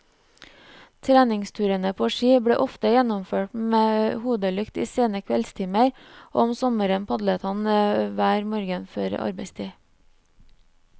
Treningsturene på ski ble ofte gjennomført med hodelykt i sene kveldstimer og om sommeren padlet han hver morgen før arbeidstid.